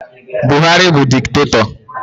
Buhari bụ diktatọ